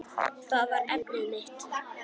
Það var efnið mitt.